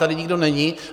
Tady nikdo není.